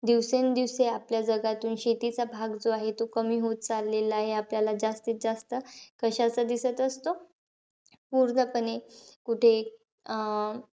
दिवसेंदिवस आपल्या जगातून शेतीचा भाग जो आहे तो कमी होत चालेला आहे. आपल्याला जास्तीत जास्त कशाचा दिसत असतो? ऊर्जापणे कुठेहि अं